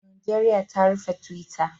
Najeriya ta rufe twitter